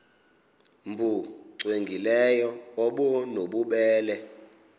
nbu cwengileyo obunobubele